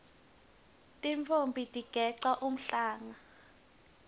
tintfombi tigeca umhlanga